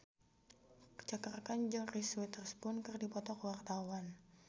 Cakra Khan jeung Reese Witherspoon keur dipoto ku wartawan